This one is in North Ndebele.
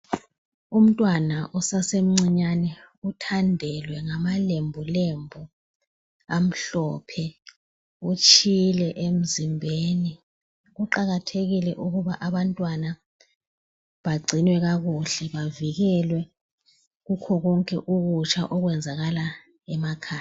Umntwana osasemncinyane uthandelwe ngamalembulembu amhlophe utshile emzimbeni. Kuqakathekile ukuba abantwana bagcinwe kakuhle bavikelwe kukhokonke ukutsha okwenzakala emakhaya